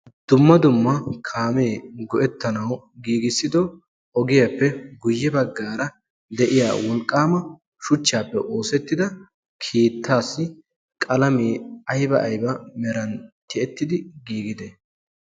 dumma dumma kaamee go7ettanau giigissido ogiyaappe guyye baggaara de7iya wolqqaama shuchchaappe oosettida kiittaassi qalamee aiba aiba meran tiyettidi giigide?